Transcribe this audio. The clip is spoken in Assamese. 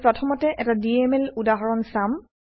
আমি প্ৰথমতে এটা ডিএমএল উদাহৰণ চাম